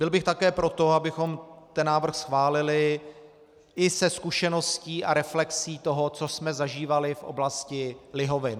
Byl bych také pro to, abychom ten návrh schválili i se zkušeností a reflexí toho, co jsme zažívali v oblasti lihovin.